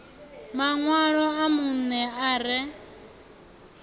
maṋwalo a vhunṋe a re